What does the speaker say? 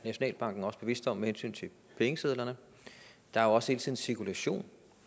nationalbanken også bevidste om med hensyn til pengesedlerne der er også hele tiden cirkulation